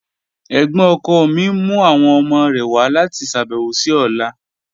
Ẹ̀gbọ́̀n ọkọ mi n mu awọn ọmọ rẹ wa lati ṣabẹwo si ọla.